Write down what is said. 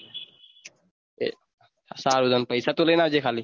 સારુ તો પૈસા તું લઇ આવજે ખાલી